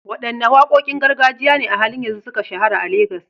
Wadanne wakokin gargajiya ne a halin yanzu suka shahara a Legas?